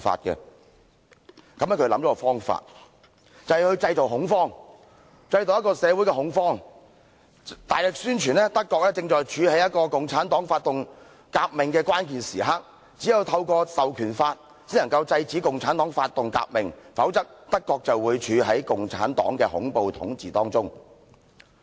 於是他想出一個方法，便是製造社會恐慌，大力宣傳德國正在處於共產黨發動革命的關鍵時刻，只有透過《授權法》才能制止共產黨發動革命，否則，德國便會處於共產黨的恐怖統治當中。